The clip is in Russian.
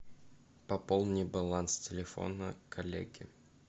пополни баланс телефона коллеги